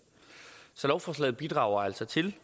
så lovforslaget bidrager altså til